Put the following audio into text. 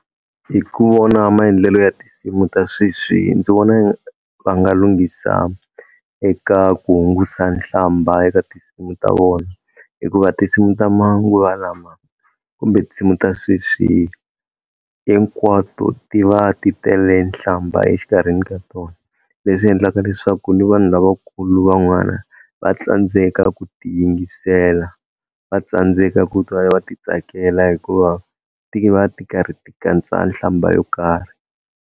Hi ku vona maendlelo ya tinsimu ta sweswi ndzi vona va nga lunghisa eka ku hungusa nhlamba eka tinsimu ta vona hikuva tinsimu ta manguva lama kumbe tinsimu ta sweswi hinkwato ti va ti tele nhlamba exikarhini ka tona leswi endlaka leswaku ni vanhu lavakulu van'wana va tsandzeka ku ti yingisela va tsandzeka ku twa va ti tsakela hikuva ti va ti karhi ti katsa nhlamba yo karhi.